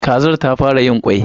Kazar ta fara yin kwai.